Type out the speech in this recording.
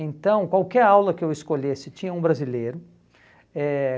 Então, qualquer aula que eu escolhesse tinha um brasileiro. Eh